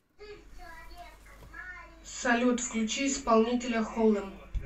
салют включи исполнителя холем